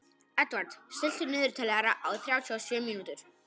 Edvard, stilltu niðurteljara á þrjátíu og sjö mínútur.